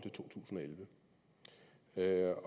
elleve